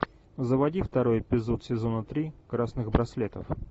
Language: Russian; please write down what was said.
заводи второй эпизод сезона три красных браслетов